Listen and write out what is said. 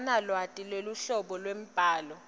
akanalwati lweluhlobo lwembhalo